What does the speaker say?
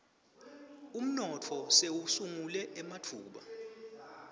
umnotfo sewusungule ematfuba